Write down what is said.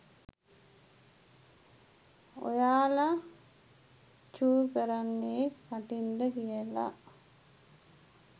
ඔයාල චූකරන්නෙ කටින්ද කියල